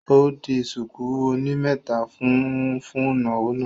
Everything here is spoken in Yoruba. Ó di ṣùkú oní mẹ́ta fún un fún ìnáwó náà